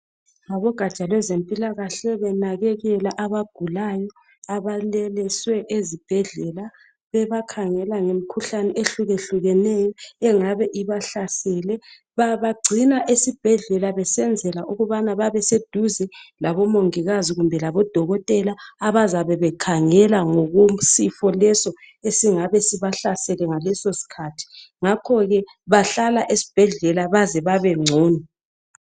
Abogaja lwezempilakahle. Benakekela abagulayo. Abalaliswe ezibhedlela. Bebakhangela ngemikhuhlane, ehlukehlukeneyo. Engabe ibahlasele Babagcina esibhedlela, besenzela ukuthi babeseduze lamadokotela labomongikazi. Abazabe bekhangela, ngesifo leso, esiyabe sibahlasele okwaleso sikhathi. Ngakho ke, bahlala esibhedlela baze babengcono